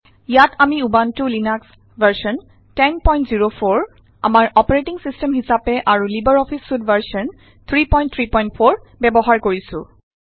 ইয়াত আমি Ubuntu Linux version 1004 আমাৰ অপাৰেটিং ছিষ্টেম হিচাপে আৰু লিবাৰ অফিচ ছুইট ভাৰ্জন 334 ব্যৱহাৰ কৰিছো